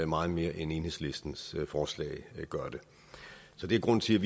meget mere end enhedslistens forslag gør det så det er grunden til